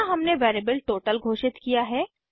यहाँ हमने variable total घोषित किया है